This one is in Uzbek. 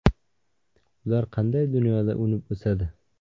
Ular qanday dunyoda unib o‘sadi?